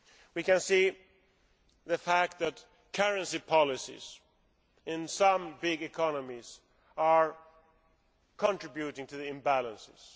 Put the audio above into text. We can see the fact that currency policies in some major economies are contributing to the imbalances.